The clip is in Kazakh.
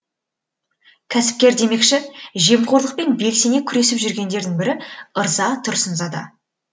кәсіпкер демекші жемқорлықпен белсене күресіп жүргендердің бірі ырза тұрсынзада